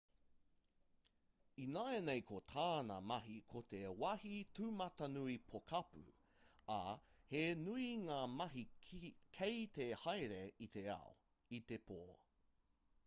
ināianei ko tāna mahi ko te wāhi tūmatanui pokapū ā he nui ngā mahi kei te haere i te ao i te pō